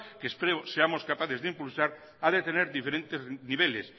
que espero seamos capaces de impulsar ha de tener diferentes niveles